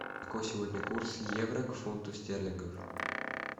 какой сегодня курс евро к фунту стерлингов